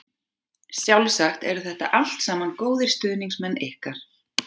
Sjálfsagt eru þetta allt saman góðir stuðningsmenn ykkar.